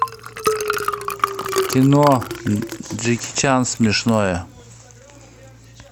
кино джеки чан смешное